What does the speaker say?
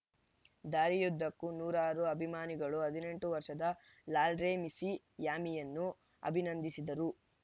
ದಾರಿಯುದ್ದಕ್ಕೂ ನೂರಾರು ಅಭಿಮಾನಿಗಳು ಹದಿನೆಂಟು ವರ್ಷದ ಲಾಲ್ರೆಮ್ಸಿಯಾಮಿಯನ್ನು ಅಭಿನಂದಿಸಿದರು